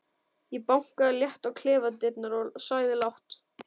Ég bankaði létt á klefadyrnar og sagði lágt